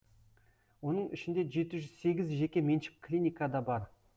оның ішінде жеті жүз сегіз жеке меншік клиника да бар